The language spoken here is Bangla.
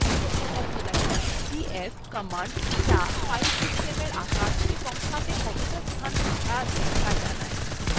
df command যা file সিস্টেমের সাইজ ও তাতে কতটা ফাঁকা আছে ত়া জানায়